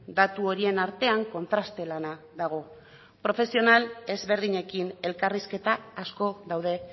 datu horien artean kontraste lana dago profesional ezberdinekin elkarrizketa asko daude